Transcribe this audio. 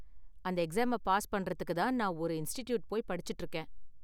அந்த எக்ஸாம பாஸ் பண்றதுக்கு தான் நான் ஒரு இன்ஸ்ட்டிட்யூட் போய் படிச்சுட்டு இருக்கேன்.